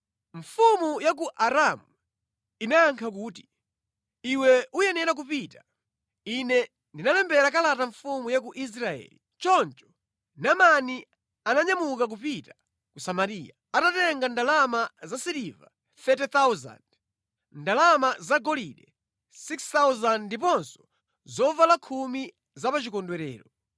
Mfumu ya ku Aramu inayankha kuti, “Iwe uyenera kupita. Ine ndilembera kalata mfumu ya ku Israeli.” Choncho Naamani ananyamuka kupita ku Samariya, atatenga ndalama za siliva 30,000, ndalama zagolide 6,000 ndiponso zovala khumi za pa chikondwerero.